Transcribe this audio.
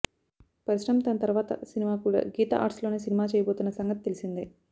పరశురామ్ తన తర్వాత సినిమా కూడా గీతాఆర్ట్స్లోనే సినిమా చేయబోతున్న సంగతి తెలిసిందే